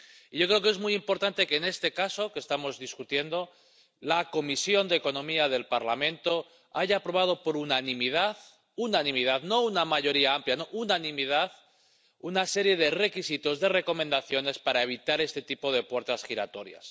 Yo creo que es muy importante que, en este caso que estamos discutiendo, la Comisión de Asuntos Económicos y Monetarios del Parlamento haya aprobado por unanimidad —unanimidad, no una mayoría amplia, unanimidad— una serie de requisitos, de recomendaciones para evitar este tipo de puertas giratorias.